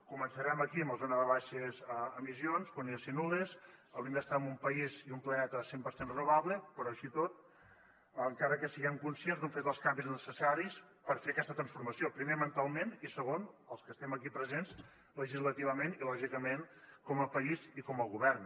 començarem aquí amb la zona de les baixes emissions que haurien de ser nul·les hauríem d’estar en un país i en un planeta cent per cent renovable però així i tot encara que en siguem conscients no hem fet els canvis necessaris per fer aquesta transformació primer mentalment i segon els que estem aquí presents legislativament i lògicament com a país i com a govern